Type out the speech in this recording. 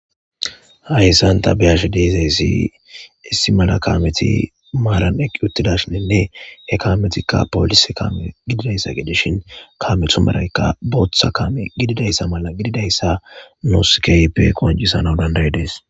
Hayssan ta beyash deezayssi issi mala kameti maaran eqqi uttidashininne he kametikka poolise kame gididayssa gedeshin kamethu maraykka booththa kaame gididayssa mala gididayssa nuskeype qoncisana dandayi dees.